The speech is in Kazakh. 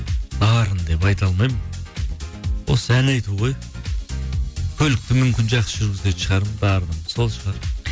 дарын деп айта алмаймын осы ән айту ғой көлікті мүмкін жақсы жүргізетін шығармын дарыным сол шығар